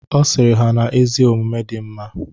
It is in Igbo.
Ọ sịrị ha na ezi omume dị mma